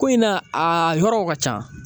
Ko in na a yɔrɔw ka ca